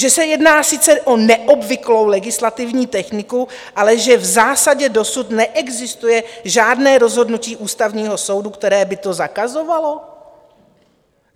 Že se jedná sice o neobvyklou legislativní techniku, ale že v zásadě dosud neexistuje žádné rozhodnutí Ústavního soudu, které by to zakazovalo?